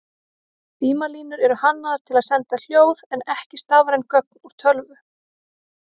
Símalínur eru hannaðar til að senda hljóð en ekki stafræn gögn úr tölvu.